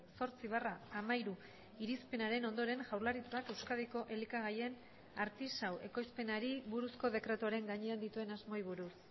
zortzi barra hamairu irizpenaren ondoren jaurlaritzak euskadiko elikagaien artisau ekoizpenari buruzko dekretuaren gainean dituen asmoei buruz